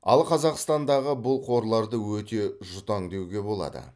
ал қазақстандағы бұл қорларды өте жұтаң деуге болады